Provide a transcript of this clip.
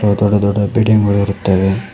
ದೊಡ್ಡ ದೊಡ್ಡ ಬಿಲ್ಡಿಂಗ್ ಗಳು ಇರುತ್ತವೆ.